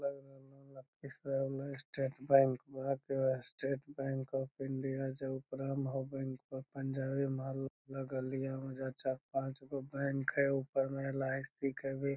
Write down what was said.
लग रहलो ये लखीसराय में state bank Bharatiya state bank of India जो ऊपरा में होअ बैंक ऑफ़ पंजाबी यहां चार पांच गो बैंक हेय ऊपरे में लाउडस्पीकर भी ।